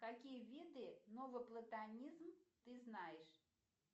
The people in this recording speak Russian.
какие виды новоплатонизм ты знаешь